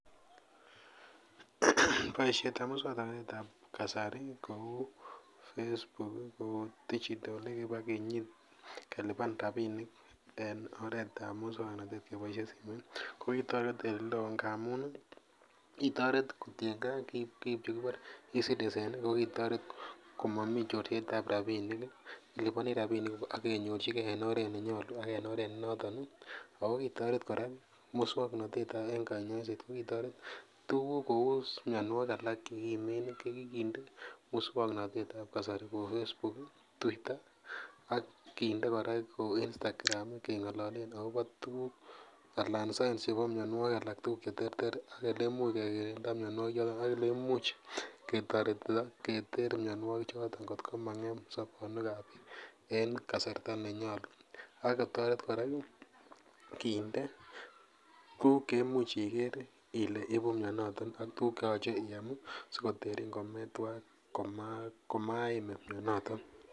boisietab muswoknotetab kasari kou facebook, kou digital kibakinyit kelipan rapinik en muswoknotet keboisien simoit ko kitoret eleo ngamun ii kitoret kotiengee kiib chekibore e-citizen ko kitoret komomii chorsetab rapinik iliponi rapinikuk akenyorchikee en oret nenyolu ak en oret nenoton ii ako kitoret koras muswoknotet en konyoiset kokitoret tuguk kous mianwogik alak chekimen ii kokikitendee muswoknotet kou facebook, twitter, ak kitendee kora kou instagram keng'ololen akobo tuguk alan signs chebo mianwogik alak tugul cheterter ak elemuch kekirinda mianwogik choton ak eleimuch ketoretitoo keter mianwogik choton kot ko maimuch kon'em sobonwekab biik en kasarta nenyolu ak kikotoret kora kindee tuguk cheimuch iker ile iibu mianotet ak tuguk cheyoche iam sikotoretin komaimin mianoto.